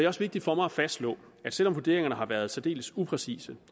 også vigtigt for mig at fastslå at selv om vurderingerne har været særdeles upræcise